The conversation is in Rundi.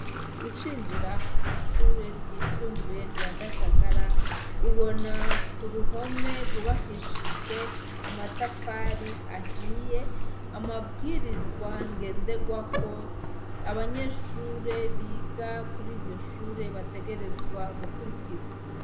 Ucinjira kw'ishure ryisumbuye rya Gatagara, ubona ku ruhome rwubakishijwe amatafari ahiye, amabwirizwa ngenderwako abanyeshure biga kuri iryo shure bategerezwa gukurikiza.